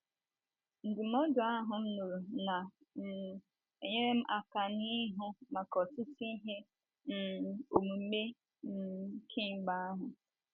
Ndụmọdụ ahụ m nụrụ na um - enyere m aka n’ịhụ maka ọtụtụ ihe um omume um kemgbe ahụ.